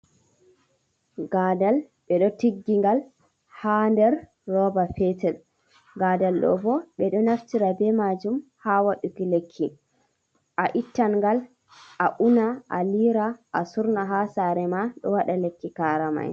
Gaadal, ɓe ɗo tiggingal haa nder rooba petel, ngadal ɗo boo ɓe ɗo naftira bee maajum haa waɗuki lekki a ittan ngal a una a liira a surna haa saare ma ɗo waɗa lekki kaarama'en.